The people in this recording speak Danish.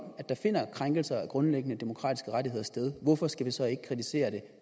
der finder krænkelser af grundlæggende demokratiske rettigheder sted hvorfor skal vi så ikke kritisere det